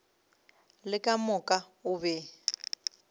le ka moka o be